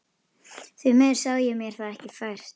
Því miður sá ég mér það ekki fært.